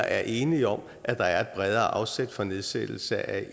er enige om at der er et bredere afsæt for nedsættelse af